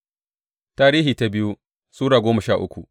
biyu Tarihi Sura goma sha uku